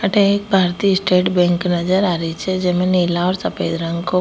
थे एक भारतीय स्टेट बैंक नजर आ री छे जेमे नीला और सफ़ेद रंग को --